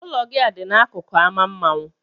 Ụlọ gị a dị n'akụkụ ámá mmanwụ.